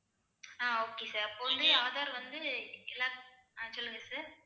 ஆஹ் okay sir அப்போ வந்து aadhar வந்து எல்லாத்துக்~ ஆஹ் சொல்லுங்க sir